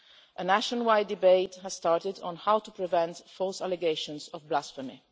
A nationwide debate has started on how to prevent false allegations of blasphemy.